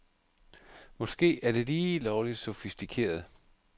Måske er det lige lovligt sofistikeret.